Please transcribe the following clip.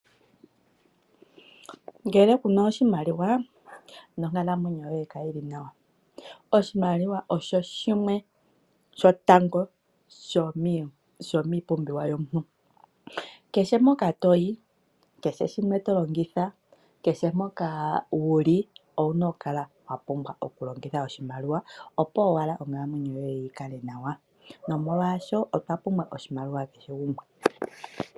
Ngele kuna oshimaliwa nonkalamwenyo yoye kayi li nawa. Oshimaliwa osho shimwe shotango sho miipumbiwa yomuntu. Kehe mpoka toyi , kehe shimwe to longitha, kehe mpoka wuli owuna okukala wa pumbwa okulongitha oshimaliwa opo owala onkalamwenyo yoye yi kale nawa. Nomolwashoka otwa pumbwa oshimaliwa kehe gumwe.